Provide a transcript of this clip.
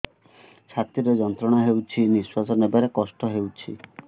ଛାତି ରେ ଯନ୍ତ୍ରଣା ହେଉଛି ନିଶ୍ଵାସ ନେବାର କଷ୍ଟ ହେଉଛି